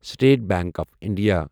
state bank of India